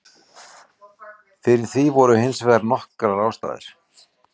Fyrir því voru hins vegar nokkrar ástæður.